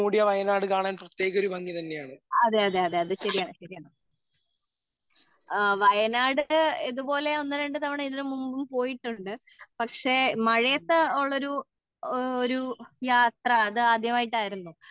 അതേ അതേ അതേ അതേ അത് ശരിയാണ് വയനാട് ഇതുപോലെ ഒന്ന്, രണ്ട് തവണ ഇതിനു മുമ്പും പോയിട്ടുണ്ട് പക്ഷേ മഴയത് ഉള്ളൊരു ഒരു യാത്ര അത് ആരാധ്യമായിട്ട് ആയിരുന്നു